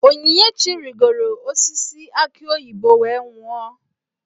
Onyinyechi rigoro osisi aki oyibo wee nwuo.